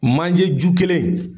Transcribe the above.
Manje ju kelen